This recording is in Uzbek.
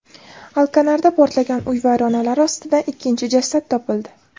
Alkanarda portlagan uy vayronalari ostidan ikkinchi jasad topildi.